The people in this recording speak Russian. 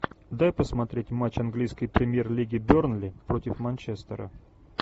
дай посмотреть матч английской премьер лиги бернли против манчестера